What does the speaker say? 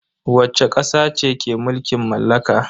Wacce kasa ce ke mulkin mallaka?